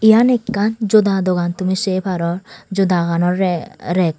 eyen ekkan joda dogan tumi sey paror jodaganorey rey.